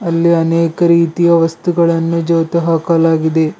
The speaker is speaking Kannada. ಅಲ್ಲಿ ಅನೇಕ ರೀತಿಯ ವಸ್ತುಗಳನ್ನು ಜೋತು ಹಾಕಲಾಗಿದೆ.